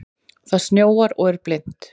Það snjóar og er blint.